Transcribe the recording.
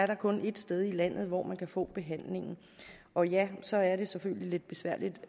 der kun er ét sted i landet hvor man kan få behandlingen og ja så er det selvfølgelig lidt besværligt